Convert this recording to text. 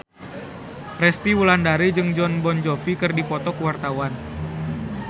Resty Wulandari jeung Jon Bon Jovi keur dipoto ku wartawan